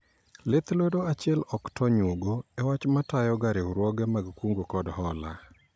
Lith lwedo achiel ok to onyuogo e wach ma tayo ga riwruoge mag kungo kod hola